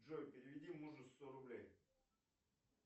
джой переведи мужу сто рублей